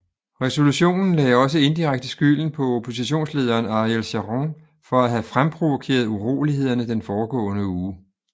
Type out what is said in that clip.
Resolutionen lagde også indirekte skylden på oppositionslederen Ariel Sharon for at have fremprovokeret urolighederne den foregående uge